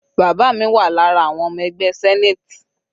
Bàbá mi wà lára àwọn ọmọ ẹgbẹ́ senate.